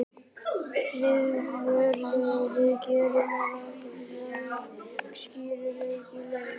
Viðurlög við að gera rangar leikskýrslur í leik?